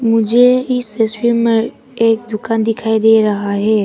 मुझे इस तस्वीर में एक दुकान दिखाई दे रहा है।